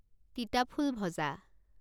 তিতাফুল ভজা